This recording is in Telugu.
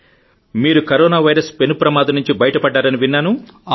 మీరు కరోనా వైరస్ పెను ప్రమాదం నుంచి బయటపడ్డారని విన్నాను